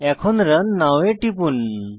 এখন run now এ টিপুন